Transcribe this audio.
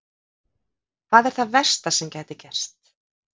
Hvað er það versta sem gæti gerst?